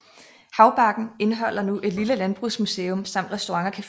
Haubargen indeholder nu et lille landbrugsmuseum samt restaurant og café